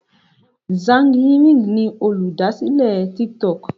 Zhang Yiming ni Olùdásílẹ̀ tik tok.